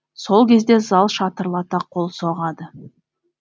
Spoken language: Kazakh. сол кезде зал шатырлата қол соғады